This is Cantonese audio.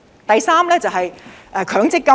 第三，是強積金。